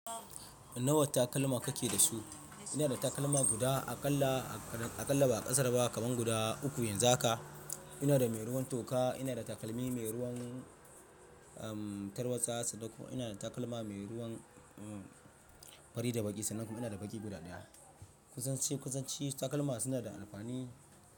Nawa takalma kake da su? Ina da takalma guda aƙalla, aƙalla ba ƙasar ba kaman guda uku yanzu haka. Ina da mai ruwan toka, ina da takalmi mai ruwan, um, tarwatsa sannan kuma, ina da takalma mai ruwan, um, fari da baƙi sanan kuma ina da baƙi guda ɗaya. Kusance, kusance takalma suna da alfan.